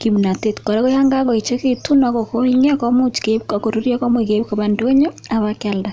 kimnatet. Kora ko yan kakoechekitu ak kokong'ia komuch ak korurya komuch keip kopa ndonyo akip kiealda.